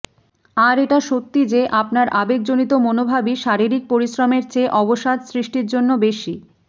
আর এটা সত্য যে আপনার আবেগজনিত মনোভাবই শারীরিক পরিশ্রমের চেয়ে অবসাদ সৃষ্টির জন্য বেশি